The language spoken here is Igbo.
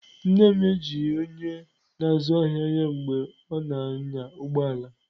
Nne m ejighị onye na-azụ ahịa ya mgbe ọ na-anya ụgbọ ala.